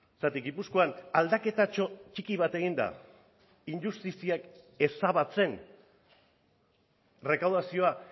zergatik gipuzkoan aldaketatxo txiki bat egin da injustiziak ezabatzen errekaudazioa